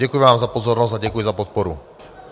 Děkuji vám za pozornost a děkuji za podporu.